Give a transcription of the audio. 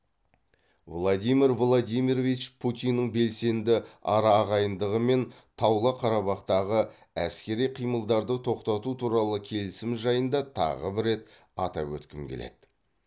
владимир владимирович путиннің белсенді араағайындығымен таулы қарабақтағы әскери қимылдарды тоқтату туралы келісім жайында тағы бір рет атап өткім келеді